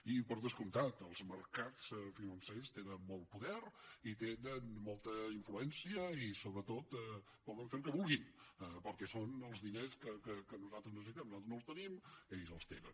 i per descomptat els mercats financers tenen molt poder i tenen molta influència i sobretot poden fer el que vulguin perquè són els diners que nosaltres necessitem nosaltres no els tenim ells els tenen